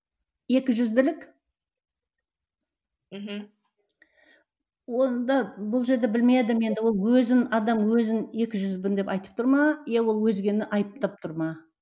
екіжүзділік мхм онда бұл жерде білмедім енді ол өзін адам өзін екіжүздімін деп айтып тұр ма иә ол өзгені айыптап тұр ма